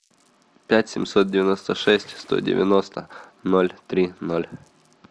пять семьсот девяносто шесть сто девяносто ноль три ноль